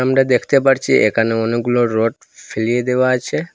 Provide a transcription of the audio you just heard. আমরা দেখতে পারছি এখানে অনেকগুলো রড ফেলিয়ে দেওয়া আছে।